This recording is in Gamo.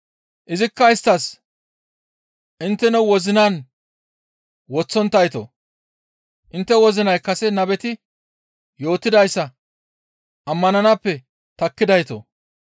Izikka isttas, «Intteno wozinan woththonttaytoo! Intte wozinay kase nabeti yootidayssa ammananaappe takkidaytoo!